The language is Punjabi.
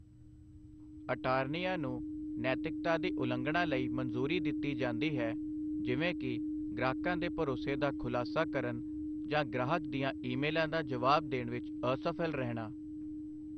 ਅਟਾਰਨੀਆਂ ਨੂੰ ਨੈਤਿਕਤਾ ਦੀ ਉਲੰਘਣਾ ਲਈ ਮਨਜ਼ੂਰੀ ਦਿੱਤੀ ਜਾਂਦੀ ਹੈ ਜਿਵੇਂ ਕਿ ਗ੍ਰਾਹਕਾਂ ਦੇ ਭਰੋਸੇ ਦਾ ਖੁਲਾਸਾ ਕਰਨ ਜਾਂ ਗ੍ਰਾਹਕ ਦੀਆਂ ਈਮੇਲਾਂ ਦਾ ਜਵਾਬ ਦੇਣ ਵਿੱਚ ਅਸਫਲ ਰਹਿਣਾ।